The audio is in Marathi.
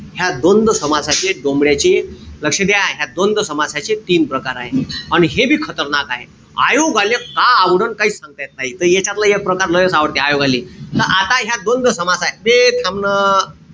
ह्या द्वंद्व समासाचे डोमड्याचे लक्ष द्या. ह्या द्वंद्व समासाचे तीन प्रकार आहे. अन हे बी खतरनाक आहे. आयोगाले काय आवडणं काई सांगता येत नाई. त यांच्यातल एक प्रकार लैच आवडते आयोगाले. त आता ह्या द्वंद्व समास ए बे थांब न.